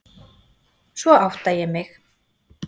Svo átta ég mig.